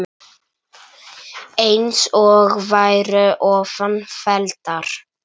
eins og væru ofan felldar